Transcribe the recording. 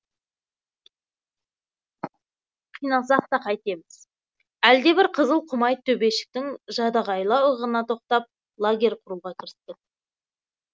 қиналсақ та қайтеміз әлдебір қызыл құмайт төбешіктің жадағайлау ығына тоқтап лагерь құруға кірістік